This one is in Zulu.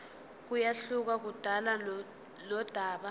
kuyehluka kudaba nodaba